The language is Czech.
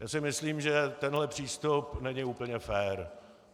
Já si myslím, že tenhle přístup není úplně fér.